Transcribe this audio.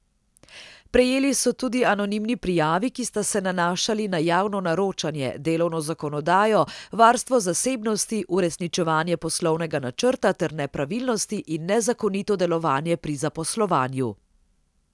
Prejeli so tudi anonimni prijavi, ki sta se nanašali na javno naročanje, delovno zakonodajo, varstvo zasebnosti, uresničevanje poslovnega načrta ter nepravilnosti in nezakonito delovanje pri zaposlovanju.